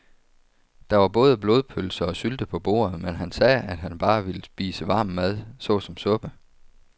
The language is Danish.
Der var både blodpølse og sylte på bordet, men han sagde, at han bare ville spise varm mad såsom suppe.